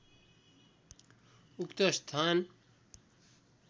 उक्त स्थान